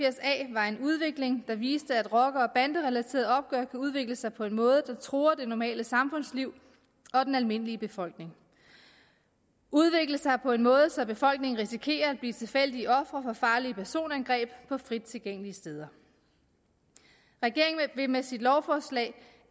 var en udvikling der viste at rocker og banderelaterede opgør kan udvikle sig på en måde der truer det normale samfundsliv og den almindelige befolkning udvikle sig på en måde så befolkningen risikerer at blive tilfældige ofre for farlige personangreb på frit tilgængelige steder regeringen vil med sit lovforslag